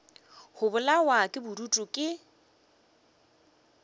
go bolawa ke bodutu ke